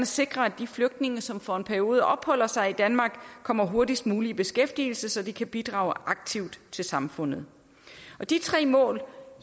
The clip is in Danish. sikre at de flygtninge som for en periode opholder sig i danmark kommer hurtigst muligt i beskæftigelse så de kan bidrage aktivt til samfundet de tre mål